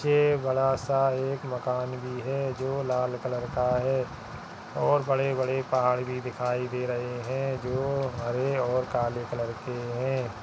नीचे बड़ा सा एक मकान भी है जो लाल कलर का है और बड़े-बड़े पहाड़ भी दिखाई दे रहे हैं जो हरे और काले कलर के हैं।